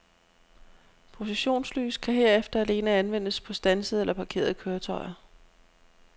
Positionslys kan herefter alene anvendes på standsede eller parkerede køretøjer.